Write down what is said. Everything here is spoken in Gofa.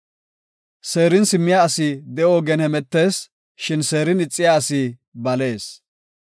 Seerin simmiya asi de7o ogen hemetees; shin seerin ixiya asi balees.